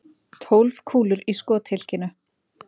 Tólf kúlur í skothylkinu.